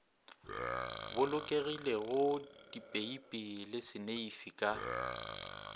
bolokegilego dipeipi le seneifi ka